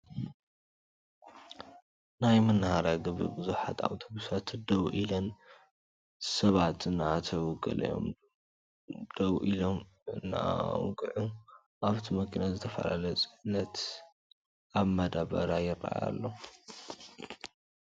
ናይ መናሃርያ ግቢ ብዙሓት ኣውቶብሳት ደው ኢለን ሳባት እናኣተው ገሊኦም ደው ኢሎም እናውግዑ ኣብቲ መኪና ዝተፈላለየ ፅዕነት ኣብ ማዳበርያ ይርኣይ ኣሎ ።